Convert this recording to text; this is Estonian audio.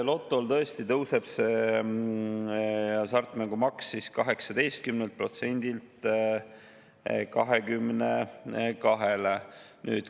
Lotol tõesti tõuseb hasartmängumaks 18%‑lt 22%‑le.